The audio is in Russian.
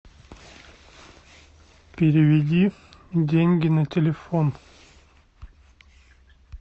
переведи деньги на телефон